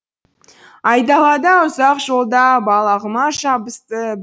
айдалада ұзақ жолда балағыма жабысты